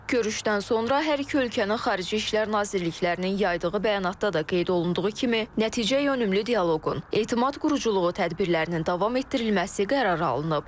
Görüşdən sonra hər iki ölkənin Xarici İşlər Nazirliklərinin yaydığı bəyanatda da qeyd olunduğu kimi, nəticəyönümlü dialoqun, etimad quruculuğu tədbirlərinin davam etdirilməsi qərarı alınıb.